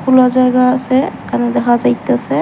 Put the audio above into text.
খুলা জায়গা আছে এখানে দেখা যাইতাছে।